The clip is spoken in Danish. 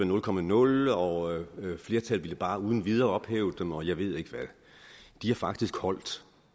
nul komma nul og flertallet ville bare uden videre ophæve dem og jeg ved ikke hvad de har faktisk holdt